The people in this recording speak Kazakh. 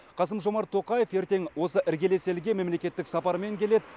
қасым жомарт тоқаев ертең осы іргелес елге мемлекеттік сапармен келеді